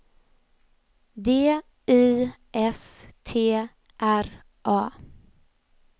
D Y S T R A